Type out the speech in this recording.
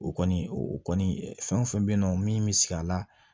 O kɔni o kɔni fɛn o fɛn be yen nɔ min bi sigi a la